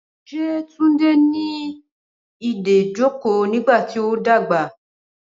Ṣé Túndé ní ìdojúkọ nígbàtí o ń dàgbà?